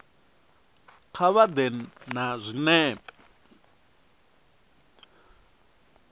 kha vha ḓe na zwinepe